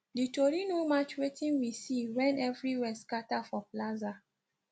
di tori no match wetin we see wen everywhere scatter for plaza